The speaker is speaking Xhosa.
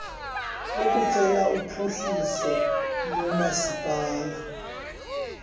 ukuceba uphuhliso lomasipala